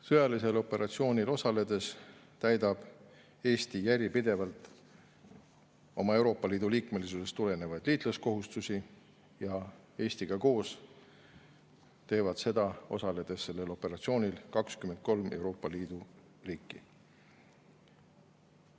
Sõjalisel operatsioonil osaledes täidab Eesti järjepidevalt oma Euroopa Liidu liikmesusest tulenevaid liitlaskohustusi ja Eestiga koos teevad seda, osaledes sellel operatsioonil, 23 Euroopa Liidu riiki.